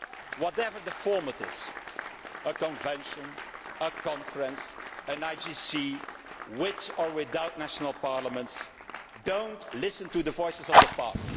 Whatever the format is a convention, a conference, an IGC with or without national parliaments do not listen to the voices of the past.